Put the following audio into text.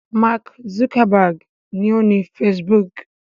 Mark Zuckerberg ni ó ni Facebook.